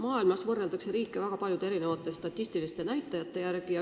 Maailmas võrreldakse riike väga erinevate statistiliste näitajate järgi.